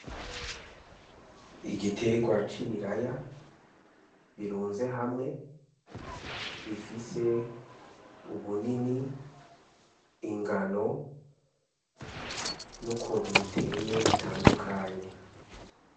Igitegwa c'ibiraya birunze hamwe bifise ubunini ingano n' ukuntu biteye bitandukanye.